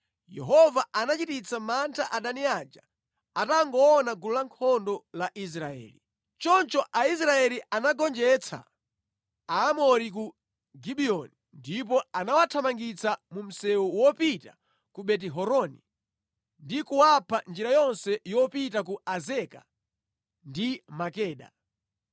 Yehova anachititsa mantha adani aja atangoona gulu lankhondo la Israeli. Choncho Aisraeli anagonjetsa Aamori ku Gibiyoni ndipo anawathamangitsa mu msewu wopita ku Beti-Horoni ndi kuwapha njira yonse yopita ku Azeka ndi Makeda.